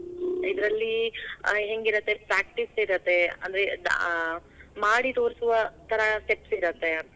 ಇದರಲ್ಲಿ ಆ~ ಹೆಂಗಿರತ್ತೆ, practice ಇರತ್ತೆ. ಅಂದ್ರೆ ಆ ಮಾಡಿ ತೋರ್ಸುವ ತರಾ steps ಇರತ್ತೆ.